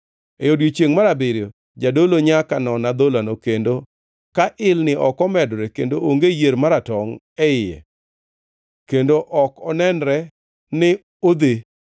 E odiechiengʼ mar abiriyo jadolo nyaka non adholano, kendo ka ilni ok omedore kendo onge yier maratongʼ e iye kendo ok onenre ni odhe,